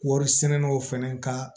Wari sɛnɛnɛnaw fana ka